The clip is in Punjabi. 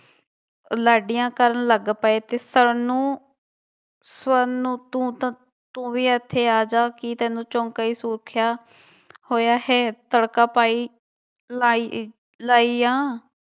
ਲਾਡੀਆਂ ਕਰਨ ਲੱਗ ਪਏ ਤੇ ਸਰਨ ਨੂੰ ਸਵਰਨੋ ਤੂੰ ਤਾਂ ਤੂੰ ਵੀ ਇੱਥੇ ਆ ਜਾ ਕੀ ਤੈਨੂੰ ਚੌਂਕਾ ਹੀ ਸੁਖਿਆ ਹੋਇਆ ਹੈ, ਤੜਕਾ ਪਾਈ, ਲਾਈ ਲਾਈ ਆ।